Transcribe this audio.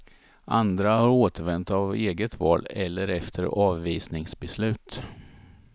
Andra har återvänt av eget val eller efter avvisningsbeslut.